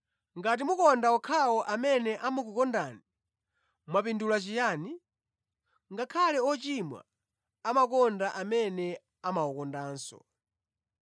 “Ngati mukonda okhawo amene amakukondani, mwapindula chiyani? Ngakhale ‘ochimwa’ amakonda amene amawakondanso.